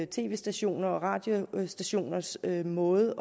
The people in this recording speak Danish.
tv stationers og radiostationers måde